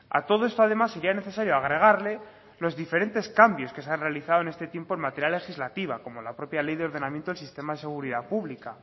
a todo esto además sería necesario agregarle los diferentes cambios que se han realizado en este tiempo en materia legislativa como la propia ley de ordenamiento del sistema de seguridad pública